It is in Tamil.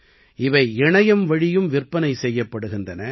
இவை இணையம்வழியும் விற்பனை செய்யப்படுகின்றன